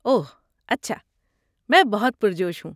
اوہ اچھا، میں بہت پرجوش ہوں۔